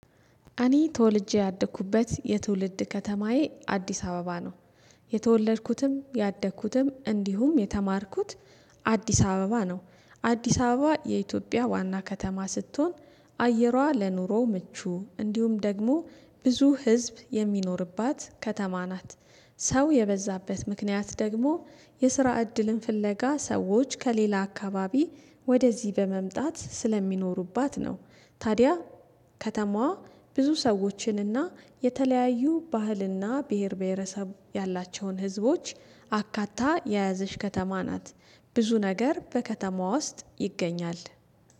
እኔ ተወልጄ ያደኩበት የትውልድ ከተማዬ አዲስ አበባ ነው። የተወለድኩትም ያደኩትም እንዲሁም የተማርኩት አዲስ አበባ ነው። አዲስ አበባ የኢትዮጵያ ዋና ከተማ ስትሆን አየሯ ለኑሮ ምቹ እንዲሁም ደግሞ ብዙ ህዝብ የሚኖርባት ከተማ ናት። ሰው የበዛበት ምክንያት ደግሞ የስራ እድልን ፍለጋ ሰዎች ከሌላ አካባቢ ወደዚህ በመምጣት ስለሚኖሩባት ነው። ታዲያ ከተማዋ ብዙ ሰዎችንና የተለያዩ ባህልና ብሄር ብሄረሰብ ያላቸውን ህዝቦች አካታ የያዘች ከተማ ናት። ብዙ ነገር በከተማዋ ውስጥ ይገኛል